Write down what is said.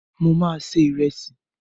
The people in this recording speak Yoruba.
Mo ma se Ìrẹ́sì.